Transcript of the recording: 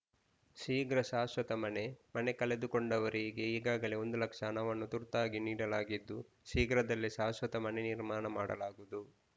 ಶೀಘ್ರ ಶಾಶ್ವತ ಮನೆ ಮನೆ ಕಳೆದುಕೊಂಡವರಿಗೆ ಈಗಾಗಲೇ ಒಂದು ಲಕ್ಷ ಹಣವನ್ನು ತುರ್ತಾಗಿ ನೀಡಲಾಗಿದ್ದು ಶೀಘ್ರದಲ್ಲೇ ಶಾಶ್ವತ ಮನೆ ನಿರ್ಮಾಣ ಮಾಡಲಾಗುವುದು